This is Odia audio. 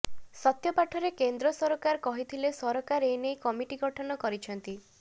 ସତ୍ୟପାଠରେ କେନ୍ଦ୍ର ସରକାର କହିଥିଲେ ସରକାର ଏନେଇ କମିଟି ଗଠନ କରିଛନ୍ତି